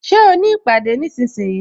Ṣé o ní ìpàdé nísinsìnyí?